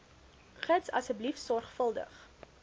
gids asseblief sorgvuldig